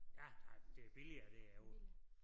Ja der det billigere det er jo